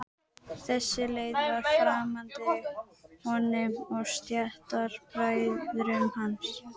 Þessi leið var framandi honum og stéttarbræðrum hans.